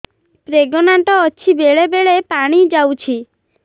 pregnant ଅଛି ବେଳେ ବେଳେ ପାଣି ଯାଉଛି